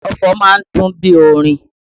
Ọfọ̀ má ń dùn bí orin